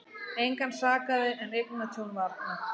Engan sakaði en eignatjón var nokkuð